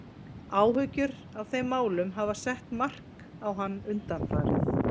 Áhyggjur af þeim málum hafa sett mark sitt á hann undanfarið.